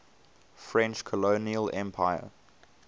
french colonial empire